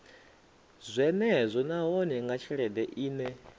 zwenezwo nahone nga tshelede ine